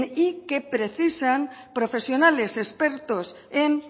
y que precisan profesionales expertos en